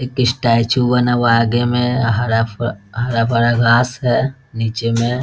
एक स्टैचू बना हुआ है आगे में हरा-भरा घास है नीचे में।